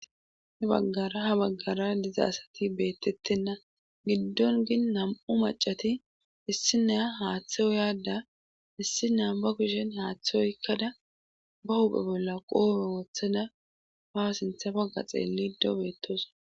He baggara ha baggara diza asati beettettenna giddon gin nam7u macati issi neya haaththe o yaadda issi nea ba kushen haaththe oykkada ba uphe bolla qoome wothada ha sinthafagga xeellido beettos